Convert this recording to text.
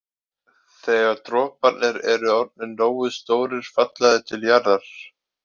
Þegar droparnir eru orðnir nógu stórir falla þeir til jarðar.